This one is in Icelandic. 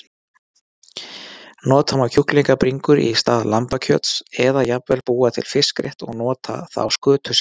Nota má kjúklingabringur í stað lambakjöts eða jafnvel búa til fiskrétt og nota þá skötusel.